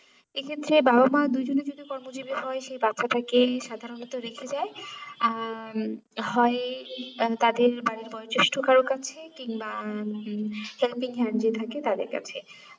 এই ক্ষেত্রে বাবা মা দু জনে যদি কর্ম জিবি হয়ে সেই বাচ্ছাটাকে সাধারণত রেখে দেয় আহ উম হয় তাদের বাড়ির বয়জেষ্ঠ কারুর কাছে কিংবা helping hand যে থাকে তাদের কাছে